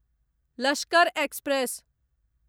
Lashkar express